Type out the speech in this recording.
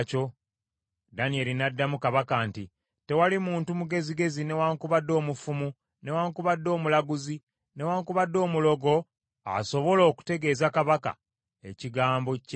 Danyeri n’addamu kabaka nti, “Tewali muntu mugezigezi, newaakubadde omufumu, newaakubadde omulaguzi, newaakubadde omulogo asobola okutegeeza kabaka ekigambo kye yasabye.